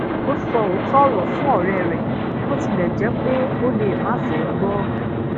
ó so ooto oro fún òré rè bó tilè jé pé o lè máà fé gbó o